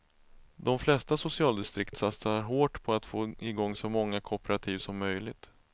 De flesta socialdistrikt satsar hårt på att få i gång så många kooperativ som möjligt.